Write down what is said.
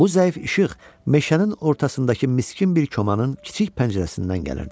Bu zəif işıq meşənin ortasındakı miskin bir komanın kiçik pəncərəsindən gəlirdi.